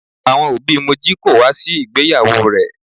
Àwọn òbí Moji kò wá sí ìgbéyàwó rẹ̀.